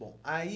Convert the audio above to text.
Bom, aí...